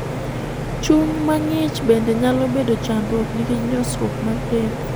Chuny ma ng'ich bende nyalo bedo chandruok nikech nyosruok mar del.